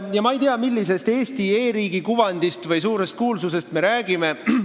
Ja ma ei tea, millisest Eesti e-riigi kuvandist või suurest kuulsusest me räägime.